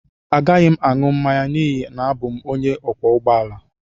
Agaghị m aṅụ mmanya n'ihi na abụ m onye ọkwọ ụgbọ ala